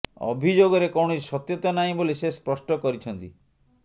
ଅଭିଯୋଗରେ କୌଣସି ସତ୍ୟତା ନାହିଁ ବୋଲି ସେ ସ୍ପଷ୍ଟ କରିଛନ୍ତି